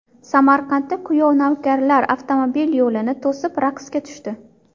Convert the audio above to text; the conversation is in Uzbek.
Samarqandda kuyov navkarlar avtomobil yo‘lini to‘sib raqsga tushdi.